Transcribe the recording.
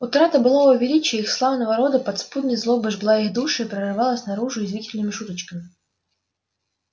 утрата былого величия их славного рода подспудной злобой жгла их души и прорывалась наружу язвительными шуточками